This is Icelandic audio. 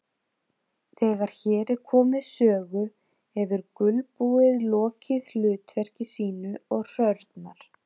Þegar hér er komið sögu hefur gulbúið lokið hlutverki sínu og hrörnar.